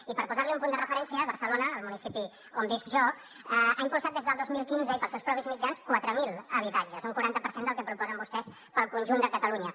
i per posar li un punt de referència barcelona el municipi on visc jo ha impulsat des del dos mil quinze i pels seus propis mitjans quatre mil habitatges un quaranta per cent del que proposen vostès per al conjunt de catalunya